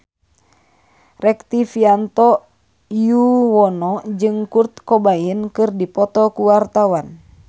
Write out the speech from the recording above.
Rektivianto Yoewono jeung Kurt Cobain keur dipoto ku wartawan